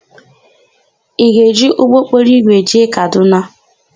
Ị ga-eji ụgbọokporoigwe jee Kadụna?